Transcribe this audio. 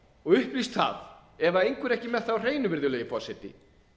og upplýst það ef einhver er ekki með það á hreinu virðulegi forseti